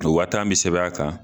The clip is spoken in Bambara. O waa tan bɛ sɛbɛn a kan.